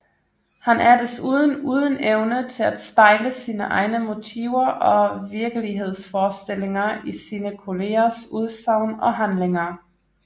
Han er desuden uden evne til at spejle sine egne motiver og virkelighedsforestillinger i sine kollegers udsagn og handlinger